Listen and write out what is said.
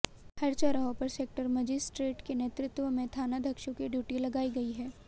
हर चौराहों पर sector magistrate के नेतृत्व में थानाध्यक्षों की ड्यूटी लगाई गई है